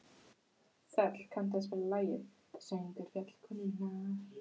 Þöll, kanntu að spila lagið „Söngur fjallkonunnar“?